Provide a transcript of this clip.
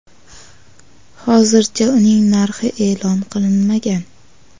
Hozircha uning narxi e’lon qilinmagan.